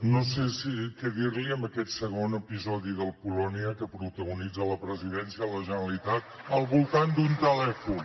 no sé què dir li en aquest segon episodi del polònia que protagonitza la presidència de la generalitat al voltant d’un telèfon